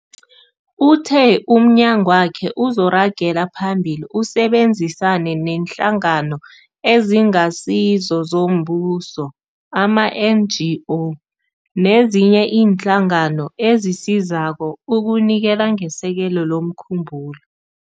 Uthe umnyagwakhe uzoragela phambili usebenzisane neeNhlangano eziNgasizo zoMbuso, ama-NGO, nezinye iinhlangano ezisizako ukunikela ngesekelo lomkhumbulo.